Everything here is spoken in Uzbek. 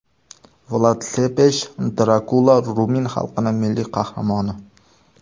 Vlad Sepesh Drakula rumin xalqining milliy qahramoni.